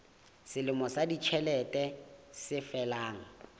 selemo sa ditjhelete se felang